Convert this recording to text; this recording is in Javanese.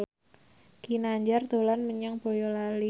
Ginanjar dolan menyang Boyolali